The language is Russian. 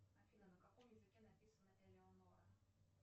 афина на каком языке написана элеонора